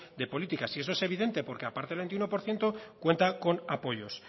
de políticas y eso es evidente porque aparte del veintiuno por ciento cuanta con apoyos